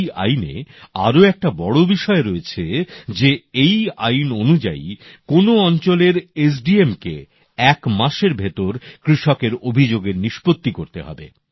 এই আইনে আরও একটা বড় বিষয় রয়েছে যে এই আইন অনুযায়ী কোন অঞ্চলের এসডিএম কে এক মাসের ভেতর কৃষকের অভিযোগের নিষ্পত্তি করতে হবে